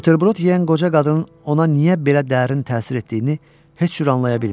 Buterbrod yeyən qoca qadının ona niyə belə dərin təsir etdiyini heç cür anlaya bilmirdi.